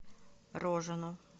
рожину